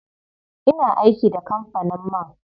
Ina aiki da kampanin man.